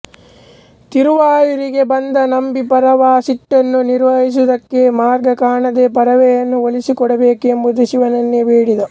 ತಿರುವಾಯೂರಿಗೆ ಬಂದ ನಂಬಿ ಪರವೆಯ ಸಿಟ್ಟನ್ನು ನಿವಾರಿಸುವುದಕ್ಕೆ ಮಾರ್ಗ ಕಾಣದೆ ಪರವೆಯನ್ನು ಒಲಿಸಿಕೊಡಬೇಕೆಂದು ಶಿವನನ್ನೇ ಬೇಡಿದ